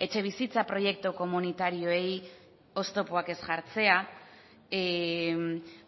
etxebizitza proiektu komunitarioei oztopoak ez jartzea